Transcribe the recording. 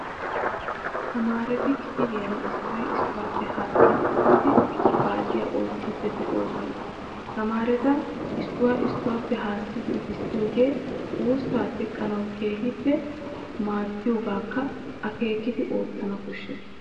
Tamaareti kifiliyan issoy issuwaappe haakidi uttidi paaciyaa oottiiddi de'oosona. Tamaareta issuwaa issuwaappe haassidi uttissiyoogee wuussaa teqqanawu keehiippe madiyoogaakka akeekidi ottana koshshees.